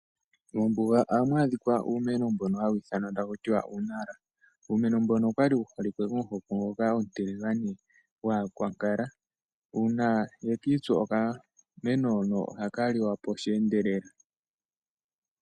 Mombunga oha mwadhika umeno mbono hayithanwa takutiwa uunala, uumeno mbono okwali wuholike komuhoko ngoka omatiligane ngwaa kwakala, una yekitsu okameno hono oha kaliwapo oshendelela.